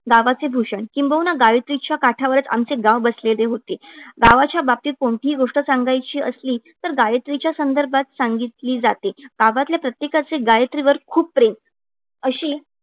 गावाचे भूषण. किंबहुना गायत्रीच्या काठावरचं आमचे गाव वसलेले होते. गावाच्या बाबतीत कोणतीही गोष्ट सांगायची असली तर गायत्रीच्या संदर्भात सांगितली जाते. गावातल्या प्रत्येकाचे गायत्री वर खूप प्रेम. अशी